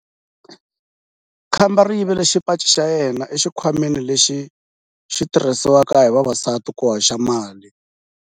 Khamba ri yivile xipaci xa yena exikhwameni lexi xi tirhisiwaka hi vavasati ku hoxela mali.